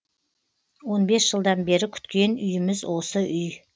он бес жылдан бері күткен үйіміз осы үй